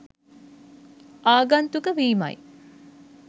ආගන්තුක වීමයි.